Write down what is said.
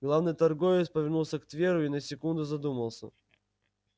главный торговец повернулся к тверу и на секунду задумался